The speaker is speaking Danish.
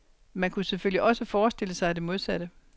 Man kunne selvfølgelig også forestille sig det modsatte.